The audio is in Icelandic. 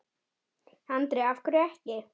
Andri: Af hverju ekki?